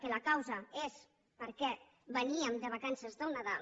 que la causa és perquè veníem de vacances del nadal